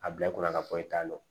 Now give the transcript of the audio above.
A bila i kunna ka fɔ i t'a dɔn